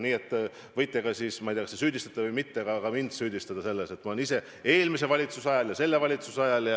Nii et võite ka – ma ei tea, kas te süüdistate või mitte – mind süüdistada selles, et ma olen seda teinud ise eelmise valitsuse ajal ja selle valitsuse ajal.